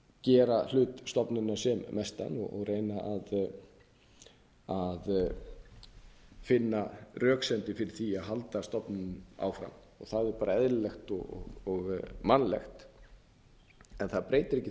gera hlut stofnunar sem mestan og reyna að finna röksemdir fyrir því að halda stofnuninni áfram og það er bara eðlilegt og mannlegt en það breytir ekki þeirri